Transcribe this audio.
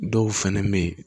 Dɔw fɛnɛ be yen